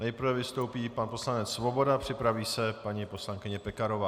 Nejprve vystoupí pan poslanec Svoboda, připraví se paní poslankyně Pekarová.